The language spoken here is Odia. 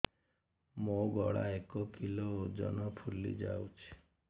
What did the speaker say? ମୋ ଗଳା ଏକ କିଲୋ ଓଜନ ଫୁଲି ଯାଉଛି